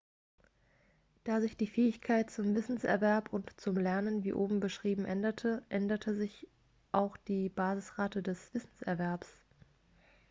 da sich die fähigkeit zum wissenserwerb und zum lernen wie oben beschrieben änderte änderte sich auch die basisrate des wissenserwerbs